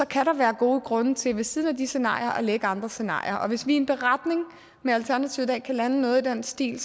kan der være gode grunde til ved siden af disse scenarier at lægge andre scenarier og hvis vi i en beretning med alternativet i dag kan lande noget i den stil